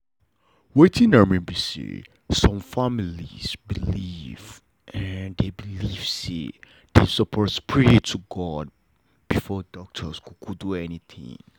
wetin i mean be saysome family believe believe say them suppose pray to god before doctor do anything